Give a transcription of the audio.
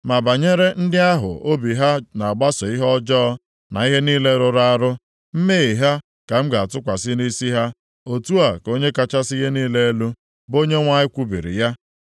Ma banyere ndị ahụ obi ha na-agbaso ihe ọjọọ na ihe niile rụrụ arụ, mmehie ha ka m ga-atụkwasị nʼisi ha; otu a ka Onye kachasị ihe niile elu, bụ Onyenwe anyị kwubiri ya.”